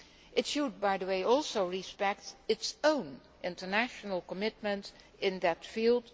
law. It should, by the way, also respect its own international commitments in that field.